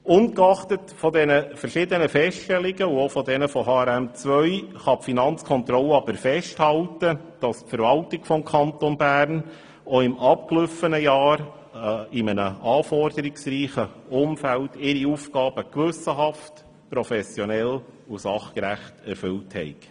Ungeachtet der verschiedenen Feststellungen und auch von HRM2 kann die Finanzkontrolle jedoch festhalten, dass die Verwaltung des Kantons Bern auch im abgelaufenen Jahr in einem anforderungsreichen Umfeld ihre Aufgaben gewissenhaft, professionell und sachgerecht erfüllt hat.